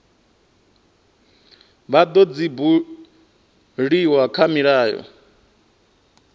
vha dzo buliwa kha milayo